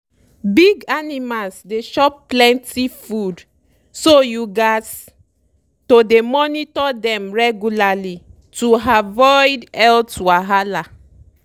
big animals dey chop plenty food so you gats to dey monitor dem regular to avoid- health wahala.